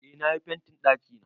Eh na yi fentin ɗakina.